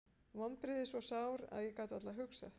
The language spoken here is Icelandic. Vonbrigðin svo sár að ég gat varla hugsað.